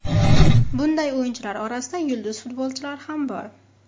Bunday o‘yinchilar orasida yulduz futbolchilar ham bor.